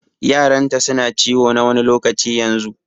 Yaranta su na ciwo na wani lokaci yanzun.